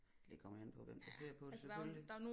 Det kommer an på hvem der ser på det selvfølgelig